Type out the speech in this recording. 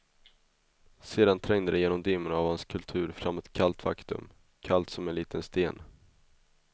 Sedan trängde det genom dimmorna av hans kultur fram ett kallt faktum, kallt som en liten sten.